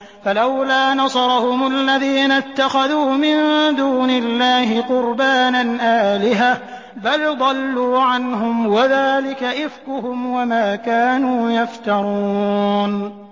فَلَوْلَا نَصَرَهُمُ الَّذِينَ اتَّخَذُوا مِن دُونِ اللَّهِ قُرْبَانًا آلِهَةً ۖ بَلْ ضَلُّوا عَنْهُمْ ۚ وَذَٰلِكَ إِفْكُهُمْ وَمَا كَانُوا يَفْتَرُونَ